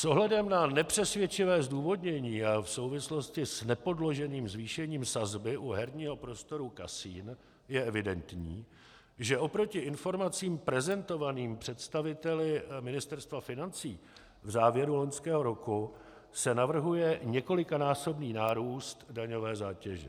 S ohledem na nepřesvědčivé zdůvodnění a v souvislosti s nepodloženým zvýšením sazby u herního prostoru kasin je evidentní, že oproti informacím prezentovaným představiteli Ministerstva financí v závěru loňského roku se navrhuje několikanásobný nárůst daňové zátěže.